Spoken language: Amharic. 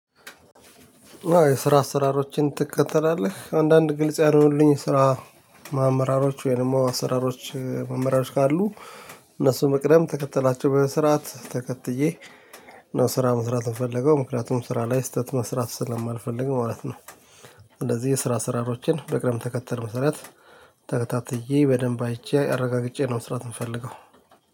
የስራ አሰራሮችን ትከተላለህ? አንዳንድ ግልጽ ያልሆኑልኝ ስራ ማመራሮች ወይም ደግሞ አሰራሮች መመሪያሮች ካሉ እነሱ መቅደም ተከትላቸው በመስራት ተከትዬ ነው ስራ መስራት የምፈለገው ምክንያቱም ስራ ላይ ስህተት መስራት ስለማልፈልግ ማለት ነው። እንደዚህ የስራ ስራሮችን በቅደም ተከተል መሰረት ተከታትዬ በደንብ አይቼ አረጋግጬ ነው መስራት የምፈልገው።